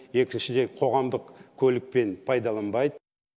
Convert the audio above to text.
екіншіден қоғамдық көлікпен пайдаланбайды